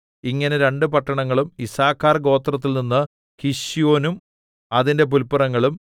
ഇങ്ങനെ രണ്ടു പട്ടണങ്ങളും യിസ്സാഖാർ ഗോത്രത്തിൽനിന്ന് കിശ്യോനും അതിന്റെ പുല്പുറങ്ങളും